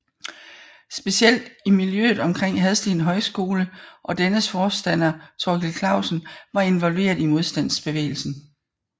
Specielt i miljøet omkring Hadsten Højskole og dennes forstander Thorkild Klausen var involveret i modstandsbevægelsen